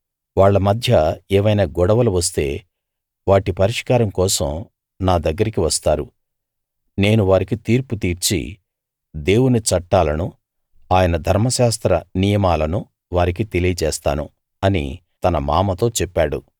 వాళ్ళ మధ్య ఏవైనా గొడవలు వస్తే వాటి పరిష్కారం కోసం నా దగ్గరికి వస్తారు నేను వారికి తీర్పు తీర్చి దేవుని చట్టాలను ఆయన ధర్మశాస్త్ర నియమాలను వారికి తెలియజేస్తాను అని తన మామతో చెప్పాడు